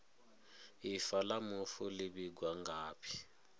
ifa la mufu li vhigwa ngafhi